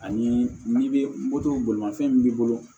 Ani n'i bɛ moto bolimafɛn min b'i bolo